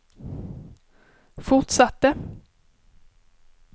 fortsatte